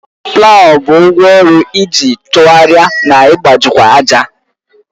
Plawu bụ ngwá ọrụ iji tụgharịa na ịgbajikwa ájà.